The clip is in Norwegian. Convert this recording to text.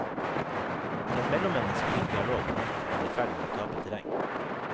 Den mellommenneskelige dialog på nettet er i ferd med å tape terreng.